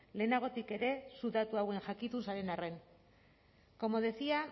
lehenagotik ere zu datu hauen jakitun zareten arren como decía